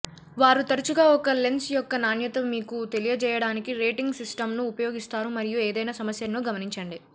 వారు తరచుగా ఒక లెన్స్ యొక్క నాణ్యత మీకు తెలియజేయడానికి రేటింగ్ సిస్టమ్ను ఉపయోగిస్తారు మరియు ఏదైనా సమస్యలను గమనించండి